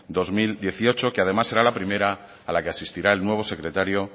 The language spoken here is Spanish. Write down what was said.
dos mil dieciocho que además será la primera a la que asistirá el nuevo secretario